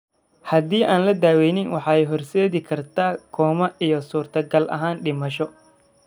Haddii aan la daweyn, waxay u horseedi kartaa koomo, iyo suurtagal ahaan dhimasho.